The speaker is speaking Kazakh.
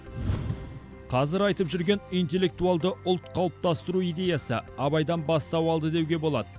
қазір айтып жүрген интеллектуалды ұлт қалыптастыру идеясы абайдан бастау алды деуге болады